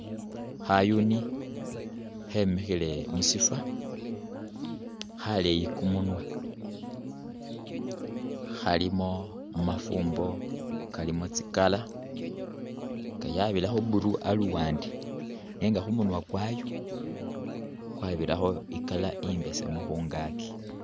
Khayuni khemikhile mushifo khaleeyi kumunwa, khalimo kamafumbo kalimo tsi color nga yabirakho blue aluwande nenga khumunwa kwayo kwabirakho i colar imbesemu khungaki.